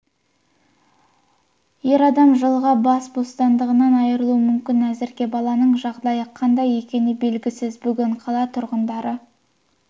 ер адам жылға бас бостандығынан айырылуы мүмкін әзірге баланың жағдайы қандай екені белгісіз бүгін қала тұрғындары